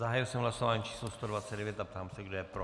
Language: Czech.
Zahájil jsem hlasování číslo 129 a ptám se, kdo je pro.